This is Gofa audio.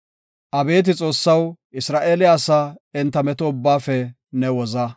Abeeti Xoossaw, Isra7eele asaa enta meto ubbaafe ne woza.